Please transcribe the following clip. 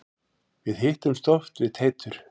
Við hittumst oft við Teitur.